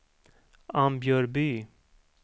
Ambjörby